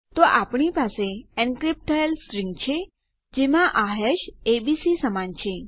તો આપણી પાસે એનક્રીપ્ટ થયેલ સ્ટ્રીંગ છે જેમાં આ હેશ એબીસી સમાન છે